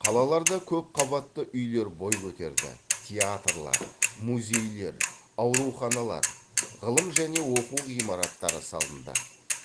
қалаларда көп қабатты үйлер бой көтерді театрлар музейлер ауруханалар ғылым және оқу ғимараттары салынды